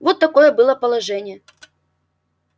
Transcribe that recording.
вот такое было положение